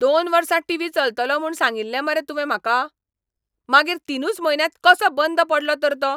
दोन वर्सां टीव्ही चलतलो म्हूण सांगिल्लें मरे तुवें म्हाका? मागीर तिनूच म्हयन्यांत कसो बंद पडलो तर तो?